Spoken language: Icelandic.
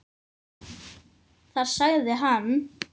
Þar sagði hann